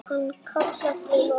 Hann kallar til okkar.